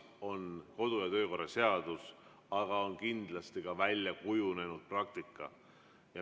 On kodu‑ ja töökorra seadus, aga on kindlasti ka väljakujunenud praktika.